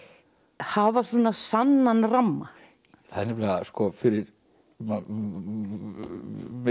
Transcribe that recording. hafa sannan ramma það er nefnilega fyrir mig